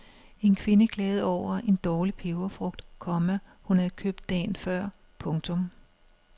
En kvinde klagede over en dårlig peberfrugt, komma hun havde købt dagen før. punktum